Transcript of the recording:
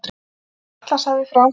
Og yfir Atlantshafið frá